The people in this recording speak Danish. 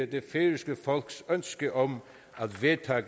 det færøske folks ønske om